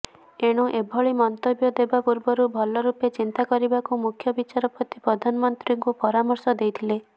ଏଣୁ ଏଭଳି ମନ୍ତବ୍ୟ ଦେବା ପୂର୍ବରୁ ଭଲ ରୂପେ ଚିନ୍ତା କରିବାକୁ ମୁଖ୍ୟବିଚାରପତି ପ୍ରଧାନମନ୍ତ୍ରୀଙ୍କୁ ପରାମର୍ଶ ଦେଇଥିଲେ